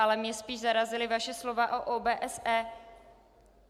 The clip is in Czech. Ale mě spíš zarazila vaše slova o OBSE.